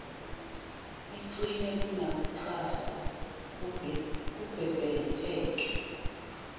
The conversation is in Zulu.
iqine kunakuqala kubhebhetheke